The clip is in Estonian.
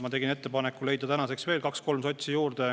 Ma tegin ettepaneku leida tänaseks veel kaks-kolm sotsi juurde.